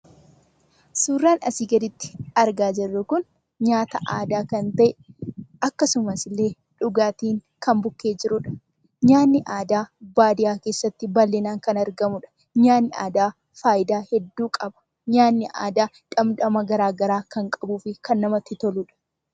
Suuraan asi gadiitti argaa jiruu kun, nyaataa aadaa kan ta'e, akkasumaas illee dhugaatti kan bukkee jiruudha. Nyaatni aadaa baadiyaa keessatti bal'inaan kan argamuudha. Nyaatni aadaa faayidaa hedduu qaba. Nyaatni aadaa dhamdhamaa gara garaa kan qabufi kan namatti toludha.